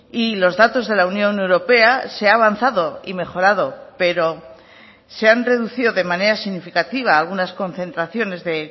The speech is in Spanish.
y los datos de la unión europea se ha avanzado y mejorado pero se han reducido de manera significativa algunas concentraciones de